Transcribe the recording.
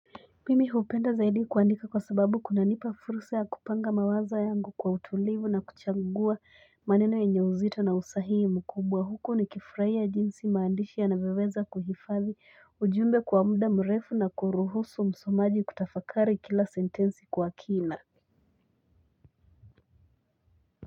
Mimi hupenda zaidi kuandika kwa sababu kuna nipa fursa ya kupanga mawazo yangu kwa utulivu na kuchagua maneno yenye uzito na usahihi mkubwa huku nikifurahia jinsi maandishi yanavyoweza kuhifadhi ujumbe kwa muda mrefu na kuruhusu msomaji kutafakari kila sentensi kwa kina.